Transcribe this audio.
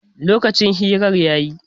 Lokacin hirar ya yi